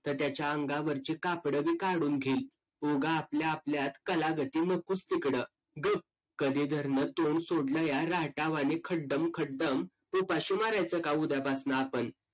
तर त्याच्या अंगावरची कापडं भी कडून घेईल उगा आपल्याआपल्यात कालगती नकोच तिकडं गप कधीधरणं तोंड सोडलया राक्यावानी खंडाम खंडम उपाशी मारायचं का उद्यापासून आपण